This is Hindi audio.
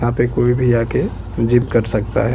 यहाँ पे कोई भी आके जिम कर सकता है।